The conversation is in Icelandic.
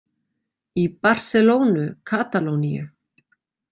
Í Barselónu, Katalóníu.